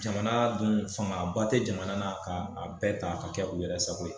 Jamana dun fangaba te jamana na k'a bɛɛ ta ka kɛ u yɛrɛ sako ye